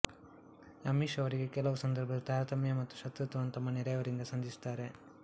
Amish ಅವರಿಗೆ ಕೆಲವು ಸಂದರ್ಭದಲ್ಲಿ ತಾರತಮ್ಯ ಮತ್ತು ಶತ್ರುತ್ವವನ್ನು ತಮ್ಮ ನೆರೆಯವರಿಂದ ಸಂಧಿಸುತ್ತಾರೆ